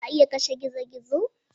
Za a iya kashe gizo-gizo?